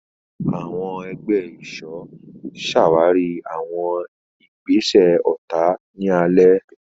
Àwọn ẹgbẹ́ ìṣọ́ ṣàwárí àwọn ìgbésẹ̀ ọ̀tá ní ààlà.